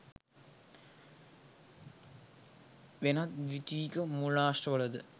වෙනත් ද්විතීයික මූලාශ්‍රවල ද